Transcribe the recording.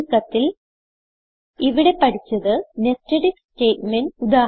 ചുരുക്കത്തിൽ ഇവിടെ പഠിച്ചത് നെസ്റ്റഡ് ഐഎഫ് സ്റ്റേറ്റ്മെന്റ്